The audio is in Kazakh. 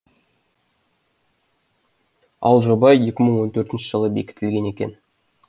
ал жоба екі мың он төртінші жылы бекітілген екен